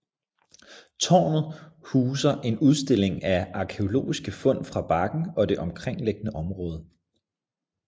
Tårnet huser en udstilling af arkæologiske fund fra bakken og det omkringliggende område